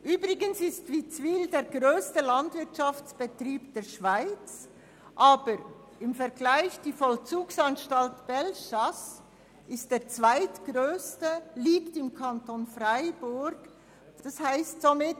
Übrigens ist Witzwil der grösste Landwirtschaftsbetrieb der Schweiz, die Justizvollzugsanstalt Bellechasse im Kanton Freiburg der zweitgrösste.